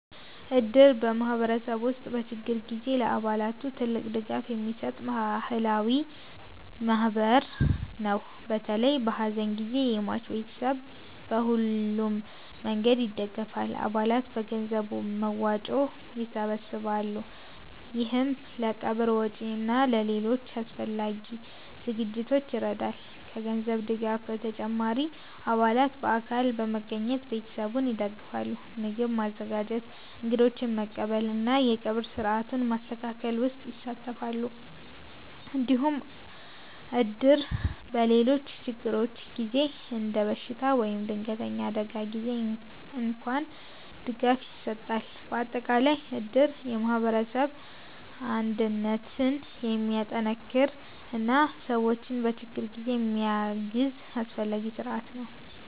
እድር በማህበረሰብ ውስጥ በችግር ጊዜ ለአባላቱ ትልቅ ድጋፍ የሚሰጥ ባህላዊ ማህበር ነው። በተለይ በሐዘን ጊዜ የሟች ቤተሰብን በሁሉም መንገድ ይደግፋል። አባላት በገንዘብ መዋጮ ይሰበሰባሉ፣ ይህም ለቀብር ወጪ እና ለሌሎች አስፈላጊ ዝግጅቶች ይረዳል። ከገንዘብ ድጋፍ በተጨማሪ አባላት በአካል በመገኘት ቤተሰቡን ይደግፋሉ። ምግብ ማዘጋጀት፣ እንግዶችን መቀበል እና የቀብር ሥርዓቱን ማስተካከል ውስጥ ይሳተፋሉ። እንዲሁም እድር በሌሎች ችግሮች ጊዜ እንደ በሽታ ወይም ድንገተኛ አደጋ ጊዜ እንኳን ድጋፍ ይሰጣል። በአጠቃላይ እድር የማህበረሰብ አንድነትን የሚጠናክር እና ሰዎችን በችግር ጊዜ የሚያግዝ አስፈላጊ ስርዓት ነው።